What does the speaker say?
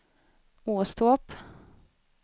Åstorp